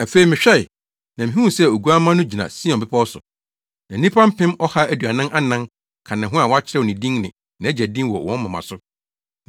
Afei mehwɛe, na mihuu sɛ Oguamma no gyina Sion bepɔw so. Na nnipa mpem ɔha aduanan anan ka ne ho a wɔakyerɛw ne din ne nʼAgya din wɔ wɔn moma so.